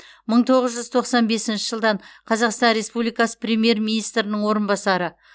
мың тоғыз жүз тоқсан бесінші жылдан қазақстан республикасы премьер министрінің орынбасары